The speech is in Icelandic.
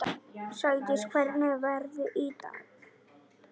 Sædís, hvernig er veðrið í dag?